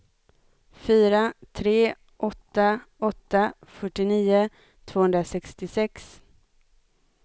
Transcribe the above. fyra tre åtta åtta fyrtionio tvåhundrasextiosex